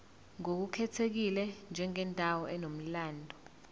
ngokukhethekile njengendawo enomlando